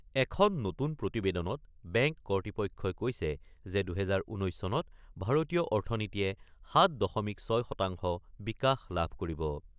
এখন নতুন প্ৰতিবেদনত বেংক কৰ্তৃপক্ষই কৈছে যে ২০১৯ চনত ভাৰতীয় অৰ্থনীতিয়ে ৭ দশমিক ৬ শতাংশ বিকাশ লাভ কৰিব।